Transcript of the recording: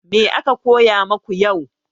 Me aka koya maku yau?